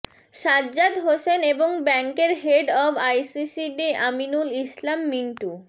সাজ্জাদ হোসেন এবং ব্যাংকের head of ICCD Aminul Islam Mintu